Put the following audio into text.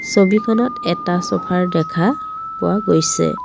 ছবিখনত এটা চফাৰ দেখা পোৱা গৈছে।